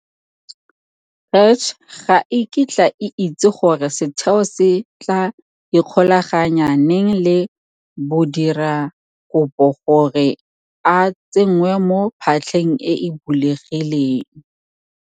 CACH ga e kitla e itse gore setheo se tla ikgolaganya neng le modirakopo gore a tsengwe mo phatlheng e e bulegileng.